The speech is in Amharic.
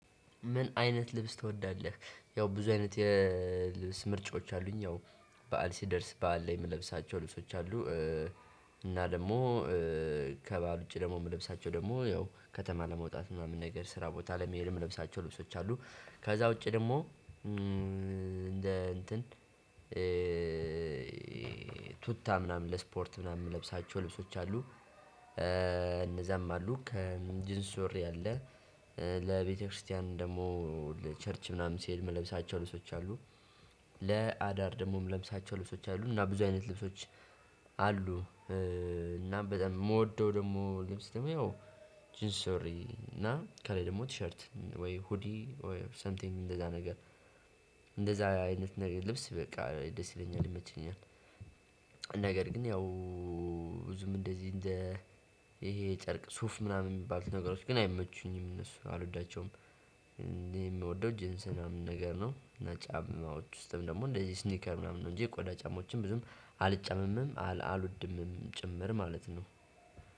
ምን አይነት ልብስ ትወዳለህ? ያው ብዙ አይነት የልብስ ምርጫዎች አሉኝ ያው በዓል ሲደርስ በዓል ላይ የምለብሳቸው ልብሶች አሉ። እና ደግሞ ከበዓል ውጪ ደግሞ የምለብሳቸው ደግሞ ያው ከተማ ለመውጣት ምናምን ነገር ስራ ቦታ ለመሄድ ምለብሳቸው ልብሶች አሉ። ከዛ ውጪ ደግሞ እንደ እንትን ቱታ ምናምን ለስፖርት ምናምን ምለብሳቸው ልብሶች አሉ። እነዛም አሉ ከጅንስ ሱሪ አለ። ለቤተክርስቲያን ደግሞ ለቸርች ምናምን ሲሄድ ምለብሳቸው ልብሶች አሉ። ለአዳር ደግሞ ምለብሳቸው ልብሶች አሉ እና ብዙ አይነት ልብሶች አሉ። እና በጣም የምወደው ደግሞ ልብስ ደግሞ ያው ጂንስ ሱሪ እና ከላይ ደግሞ ቲሸርት ወይ ሁዲ ኦር ሰምቲንግ እንደዛ ነገር እንደዛ አይነት ነገር ልብስ በቃ ደስ ይለኛል ይመቸኛል። ነገር ግን ያው ብዙም እንደዚህ ይሄ ጨርቅ ሱፍ ምናምን የሚባሉ ነገሮች ግን አይመቹኝም እነሱን አልወዳቸውም። እኔ የምወደው ጂንስ ምናምን ነገር ነው። እና ጫማዎች ውስጥም ደግሞ እንደዚህ ስኒከር ምናምን ነው። እንጂ የቆዳ ጫማዎችን ብዙም አልጫማምም አልወድምም ጭምር ማለት ነው።